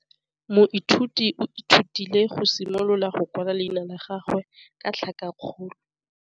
Moithuti o ithutile go simolola go kwala leina la gagwe ka tlhakakgolo.